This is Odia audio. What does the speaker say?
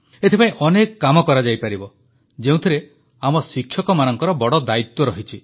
ଏଥିପାଇଁ ଅନେକ କାମ କରାଯାଇପାରିବ ଯେଉଁଥିରେ ଆମ ଶିକ୍ଷକମାନଙ୍କର ବଡ଼ ଦାୟିତ୍ୱ ରହିଛି